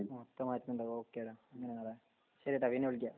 ആ ഇപ്പം മാറ്റ്ണ്ടാവും ഓക്കെ ടാ അങ്ങനെ അങ്ങട് ശെരിട്ടോ പിന്നെ വിളിക്കാം